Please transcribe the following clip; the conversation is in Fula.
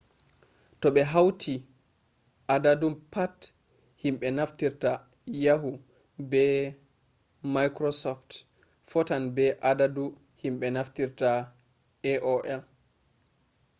to ɓe hauti adadu pat himɓe naftirta yahu be maikrosoft fotan be adadu himɓe naftirta aol